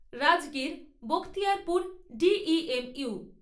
Rajgir Bakhtiyarpur D E M you